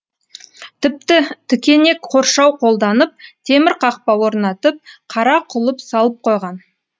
тіпті тікенек қоршау қолданып темір қақпа орнатып қара құлып салып қойған